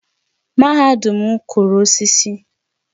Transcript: Mahadum m kụrụ osisi